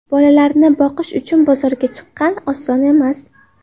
Bolalarini boqish uchun bozorga chiqqan, oson emas.